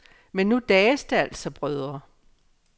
Men nu dages det altså brødre.